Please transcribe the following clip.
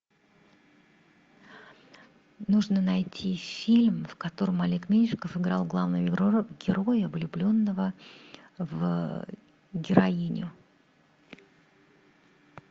нужно найти фильм в котором олег меньшиков играл главного героя влюбленного в героиню